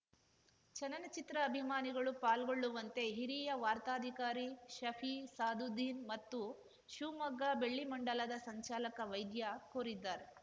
ಚಲನಚಿತ್ರ ಅಭಿಮಾನಿಗಳು ಪಾಲ್ಗೊಳ್ಳುವಂತೆ ಹಿರಿಯ ವಾರ್ತಾಧಿಕಾರಿ ಶಫಿ ಸಾದುದ್ದೀನ್‌ ಮತ್ತು ಶಿವಮೊಗ್ಗ ಬೆಳ್ಳಿಮಂಡಲದ ಸಂಚಾಲಕ ವೈದ್ಯ ಕೋರಿದ್ದಾರೆ